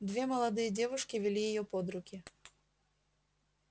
две молодые девушки вели её под руки